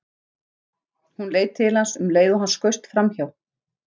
Hún leit til hans um leið og hann skaust framhjá.